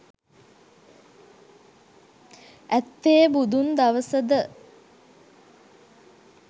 ඇත්තේ බුදුන් දවසද?